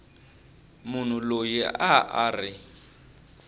munhu loyi a a ri